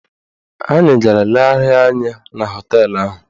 Anyị gara legharịa anya na họteelụ ahụ.